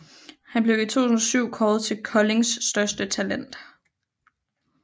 Han blev i 2007 kåret til Koldings største talent